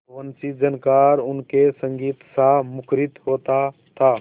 वंशीझनकार उनके संगीतसा मुखरित होता था